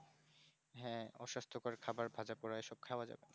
হ্যাঁ অসুস্থ কর খাওয়ার ভাজাপোড়া এসব খাওয়া যাবেনা